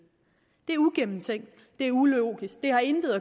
det er uigennemtænkt det er ulogisk det har intet